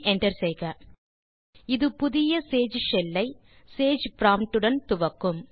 enter செய்க இது புதிய சேஜ் ஷெல் ஐsage ப்ராம்ப்ட் உடன் துவக்கும்